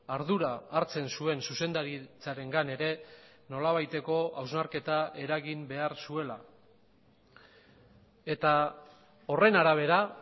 ardura hartzen zuen zuzendaritzarengan ere nolabaiteko hausnarketa eragin behar zuela eta horren arabera